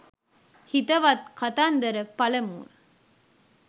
හිතවත් කතන්දර පළමුව